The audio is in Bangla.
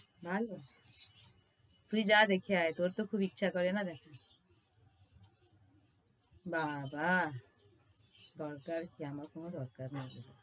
ভালো। তুই যা দেখে আয় তোর তো খুব ইচ্ছে করে না দেখার। বাবা। দরকার আমার কোনো দরকার নেই।